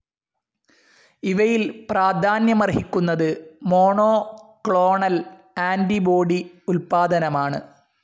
ഇവയിൽ പ്രാധാന്യമർഹിക്കുന്നത് monoclonal antibody ഉൽപാദനമാണ്.